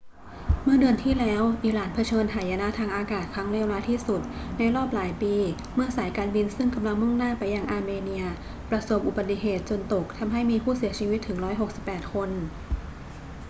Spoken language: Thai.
เมื่อเดือนที่แล้ว อิหร่านเผชิญหายนะทางอากาศครั้งเลวร้ายที่สุดในรอบหลายปีเมื่อสายการบินซึ่งกำลังมุ่งหน้าไปยังอาร์เมเนียประสบอุบัติเหตุจนตกทำให้มีผู้เสียชีวิตถึง 168 คน